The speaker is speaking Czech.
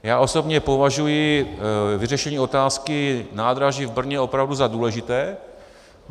Já osobně považuji vyřešení otázky nádraží v Brně opravdu za důležité.